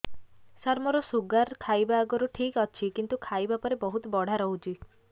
ସାର ମୋର ଶୁଗାର ଖାଇବା ଆଗରୁ ଠିକ ଅଛି କିନ୍ତୁ ଖାଇବା ପରେ ବହୁତ ବଢ଼ା ରହୁଛି